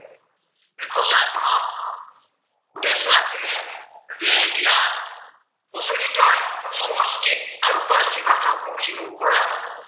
প্ৰচলিত সংস্কৃত আৰু পাৰ্চী ভাষাক মষিমূৰ কৰা